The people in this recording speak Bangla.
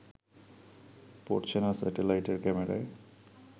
পড়ছে না স্যাটেলাইটের ক্যামেরায়